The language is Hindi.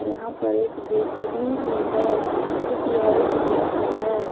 यहां पर एक जेसीबी भी है जोकि ऑरेंज कलर का है।